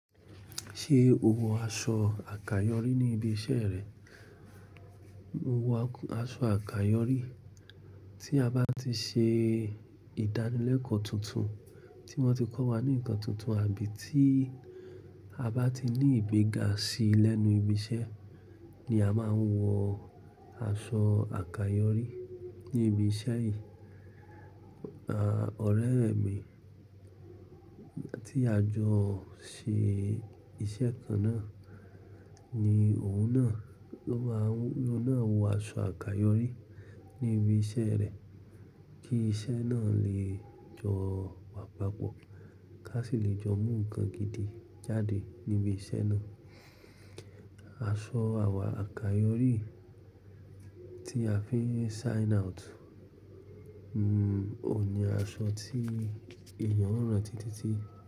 Ṣé o wọ aṣọ àkàyọ́rí ní ibi iṣẹ́ rẹ? Mo wọ aṣọ àkàyọ́rí tí a bá ti ṣe ìdánilẹ́kọ̀ọ́ tuntun tí wọ́n ti kọ́ wa ní nǹkan tuntun àbí tí a bá ti ní ìgbéga sí i lẹ́nu ibi iṣẹ́ ni a máa ń wọ aṣọ àkàyọ́rí ní ibi iṣẹ́ yìí. À, ọ̀rẹ́ mi tí a jọ ṣe iṣẹ́ kan náà ni òun náà ló ma wọ̀, ló náà wọ aṣọ àkàyọ́rí ní ibi iṣẹ́ rẹ̀ kí iṣẹ́ náà lè jọ gbàgbà pọ̀, ká sì lè jọ mú ǹkan gidi jáde níbi iṣẹ́ náà. Aṣọ àwà àkàyọ́rí tí a fi sign out, òun ni aṣọ tí èèyàn o ranti títí.